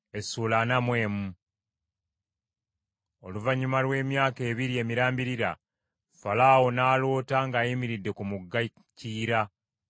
Oluvannyuma lw’emyaka ebiri emirambirira, Falaawo n’aloota ng’ayimiridde ku mugga Kiyira;